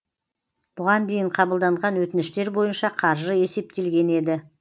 бұған дейін қабылданған өтініштер бойынша қаржы есептелген еді